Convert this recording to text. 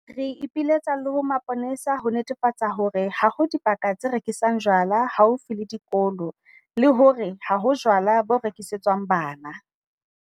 Re ipiletsa le ho mapolesa ho netefatsa hore ha ho dibaka tse rekisang jwala haufi le dikolo le hore ha ho jwala bo rekisetswang bana.